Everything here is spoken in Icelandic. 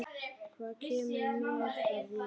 Hvað kemur mér það við?